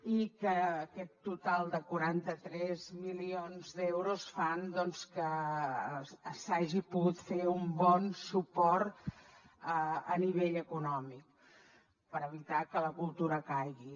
i aquest total de quaranta tres milions d’euros fan que s’hagi pogut fer un bon suport a nivell econòmic per evitar que la cultura caigui